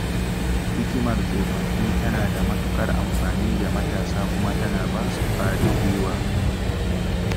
Hikimar tsofaffi tana da matuƙar amfani ga matasa kuma tana ba su ƙwarin guiwa.